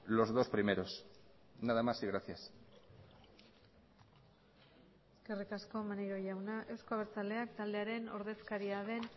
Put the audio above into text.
los dos primeros nada más y gracias eskerrik asko maneiro jauna euzko abertzaleak taldearen ordezkariaren den